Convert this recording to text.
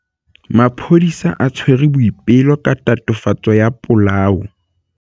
Maphodisa a tshwere Boipelo ka tatofatsô ya polaô.